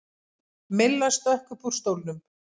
Milla stökk upp úr stólnum.